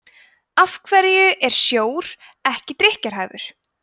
af hverju er sjór ekki drykkjarhæfur